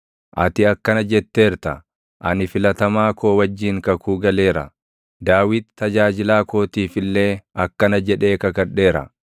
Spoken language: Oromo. Ati akkana jetteerta; “Ani filatamaa koo wajjin kakuu galeera; Daawit tajaajilaa kootiif illee akkana jedhee kakadheera;